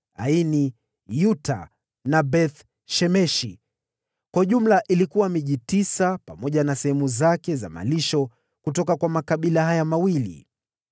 Aini, Yuta na Beth-Shemeshi, pamoja na sehemu zake za malisho, ilikuwa miji tisa kutoka kwa makabila haya mawili.